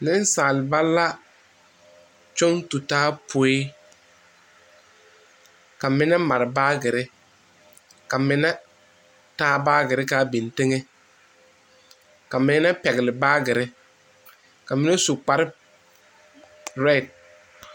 Nensaalba la kyɔŋ tu taa poe ka mine mare baagere ka mine taa baagere kaa biŋ teŋɛ ka mine pɛgeli baagere, ka mine su kpare zeɛ